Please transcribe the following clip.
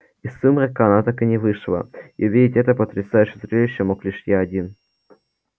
из сумрака она так и не вышла и увидеть это потрясающее зрелище мог лишь я один